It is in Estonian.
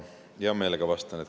Hea meelega vastan.